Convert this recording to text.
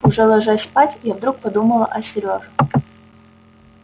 уже ложась спать я вдруг подумала о серёже